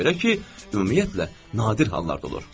Ona görə ki, ümumiyyətlə, nadir hallarda olur.